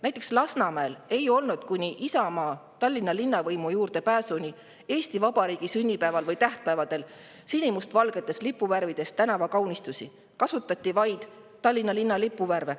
Näiteks Lasnamäel ei olnud kuni Isamaa Tallinna linnavõimu juurde pääsuni Eesti Vabariigi sünnipäeval või tähtpäevadel sinimustvalgetes lipuvärvides tänavakaunistusi, kasutati vaid Tallinna lipu värve.